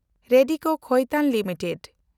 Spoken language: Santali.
ᱨᱮᱰᱤᱠᱳ ᱠᱷᱟᱭᱛᱟᱱ ᱞᱤᱢᱤᱴᱮᱰ